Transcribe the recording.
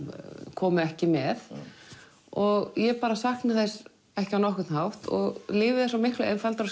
kom ekki með og ég bara sakna þess ekki á nokkurn hátt og lífið er svo miklu einfaldara